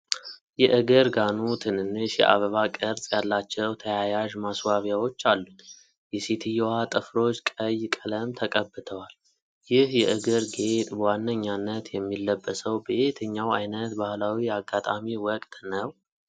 የእግር ጋኑ ትንንሽ የአበባ ቅርጽ ያላቸው ተያያዥ ማስዋቢያዎች አሉት፤ የሴትየዋ ጥፍሮች ቀይ ቀለም ተቀብተዋል። ይህ የእግር ጌጥ በዋነኛነት የሚለበሰው በየትኛው ዓይነት ባህላዊ አጋጣሚ ወቅት ነው?